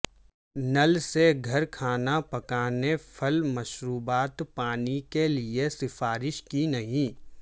نل سے گھر کھانا پکانے پھل مشروبات پانی کے لئے سفارش کی نہیں